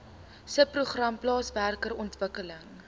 subprogram plaaswerker ontwikkeling